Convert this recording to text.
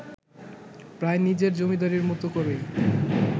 প্রায় নিজের জমিদারির মত করেই